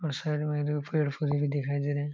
और साइड में दो पेड़ पौधे भी दिखाई दे रहे है।